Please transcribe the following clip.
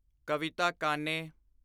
ਕਵਿਤਾ ਕਾਨੇ